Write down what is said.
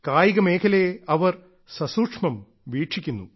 കായിക മേഖലയെ അവർ സസൂക്ഷ്മം വീക്ഷിക്കുന്നു